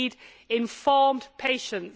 We need informed patients.